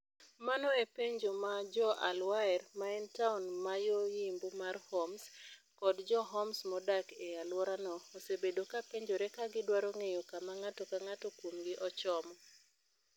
Mano e penjo ma jo al-Waer, ma en taon man yo yimbo mar Homs, kod jo Homs modak e alworano, osebedo kapenjore ka gidwaro ng'eyo kama ng'ato ka ng'ato kuomgi ochomo.